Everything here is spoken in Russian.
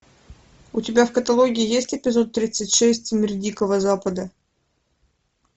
у тебя в каталоге есть эпизод тридцать шесть мир дикого запада